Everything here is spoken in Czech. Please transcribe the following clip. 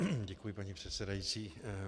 Děkuji, paní předsedající.